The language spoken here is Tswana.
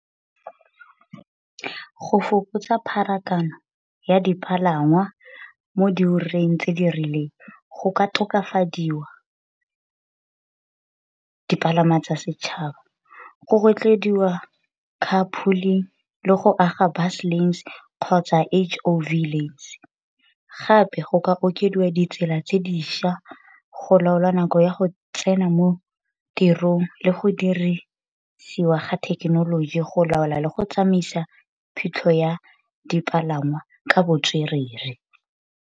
Go fokotsa pharakano ya dipalangwa mo diureng tse di rileng go ka tokafadiwa dipalangwa tsa setšhaba. Go rotloediwa car pulling, le go aga bus lanes kgotsa H_O_V lanes, gape go ka okediwa ditsela tse dišwa go laola nako ya go tsena mo tirong le go dirisiwa ga thekenoloji go laola le go tsamaisa phitlho ya dipalangwa ka botswerere.